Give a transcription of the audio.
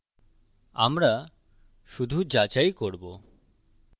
আমরা শুধু যাচাই করবো